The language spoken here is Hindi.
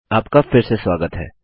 आपका फिर से स्वागत है